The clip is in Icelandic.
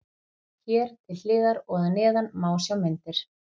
Hér til hliðar og að neðan má sjá myndir.